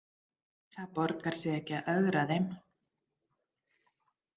Það borgar sig ekki að ögra þeim.